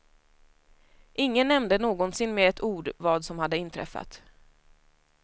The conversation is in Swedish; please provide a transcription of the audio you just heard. Ingen nämnde någonsin med ett ord vad som hade inträffat.